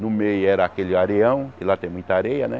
No meio era aquele areião, e lá tem muita areia, né?